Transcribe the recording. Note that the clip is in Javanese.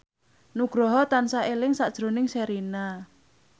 Nugroho tansah eling sakjroning Sherina